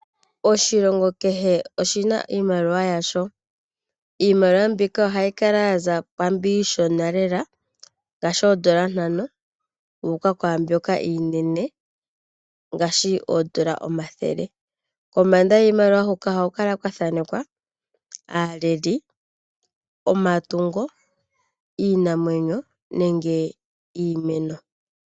Oshilongo kehe oshina iimaliwa yasho. Iimaliwa mbika ohayi kala yaza kwaambyo iishona lela ngaashi oondola ntano yu uka kwaambyoka iinene ngaashi oondola omathele. kombanda yiimaliwa hoka ohaku kala kwa thanekwa aaleli, omatungo ,iinamwenyo nenge iimeno.